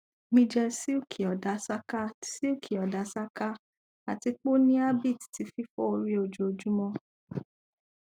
mi jẹ silky odasaka silky odasaka ati pe o ni habit ti fifọ ori ojoojumọ